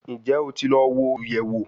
Njẹ o ti lọ wo oluyẹwo?